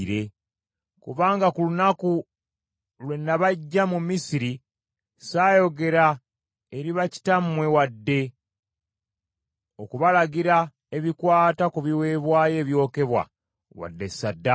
Kubanga ku lunaku lwe nabaggya mu Misiri saayogera eri bakitammwe wadde okubalagira ebikwata ku biweebwayo ebyokebwa wadde ssaddaaka.